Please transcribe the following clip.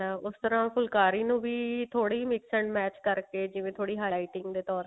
ਉਸ ਤਰਾਂ ਫੁਲਕਾਰੀ ਨੂੰ ਵੀ ਥੋੜੀ mix and match ਕਰਕੇ ਜਿਵੇਂ ਥੋੜੀ high lighting ਦੇ ਤੋਰ ਤੇ